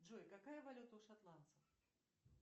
джой какая валюта у шотландцев